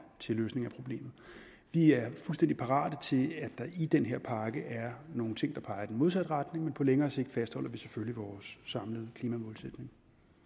til løsning af problemet vi er fuldstændig parate sige at der i den her pakke er nogle ting der peger i den modsatte retning men på længere sigt fastholder vi selvfølgelig vores samlede klimamålsætning